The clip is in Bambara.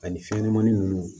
Ani fɛnɲɛnɛmanin ninnu